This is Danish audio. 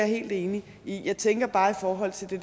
helt enig i jeg tænker bare i forhold til det